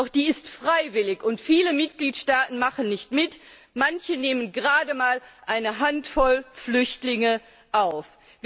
Doch die ist freiwillig, und viele Mitgliedstaaten machen nicht mit, manche nehmen gerade mal eine Handvoll Flüchtlinge auf.